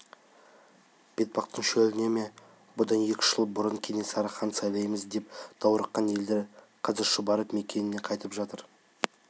бетпақтың шөліне ме бұдан екі-үш жыл бұрын кенесарыны хан сайлаймыз деп даурыққан елдер қазір шұбырып мекеніне қайтып жатыр